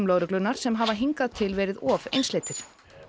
lögreglunnar sem hafa hingað til verið of einsleitir